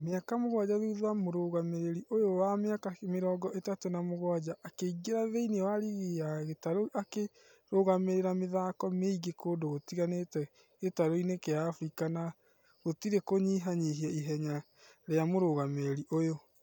Mĩaka mũgwaja thutha mũrũgamĩrĩri ũyũ wa mĩaka mĩrongo ĩtatũ na mũgwaja akĩingira thĩini wa rigi ya gĩtaro akĩrũgamerera mĩthako mĩingi kũndũ gũtiganĩte gĩtaroinĩ gia africa na gũtire kũnyiha nyĩhia ihenya ria mũrũgamĩrĩri ũyo.: